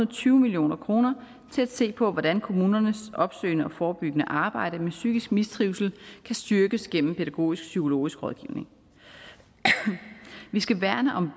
og tyve million kroner til at se på hvordan kommunernes opsøgende og forebyggende arbejde med psykisk mistrivsel kan styrkes gennem pædagogisk psykologisk rådgivning vi skal værne om